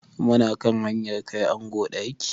Mu na kan hanyar kai ango ɗaki.